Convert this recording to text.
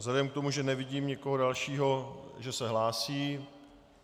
Vzhledem k tomu, že nevidím nikoho dalšího, že se hlásí...